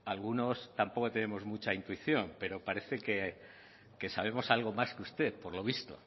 algunos tampoco tenemos mucha intuición pero parece que sabemos algo más que usted por lo visto